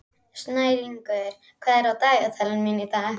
Snæringur, hvað er á dagatalinu mínu í dag?